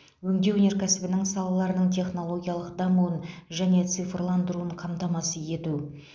өңдеу өнеркәсібінің салаларының технологиялық дамуын және цифрландырылуын қамтамасыз ету